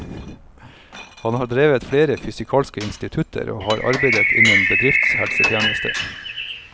Han har drevet flere fysikalske institutter, og har arbeidet innen bedriftshelsetjeneste.